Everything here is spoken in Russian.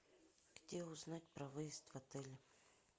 где узнать про выезд в отеле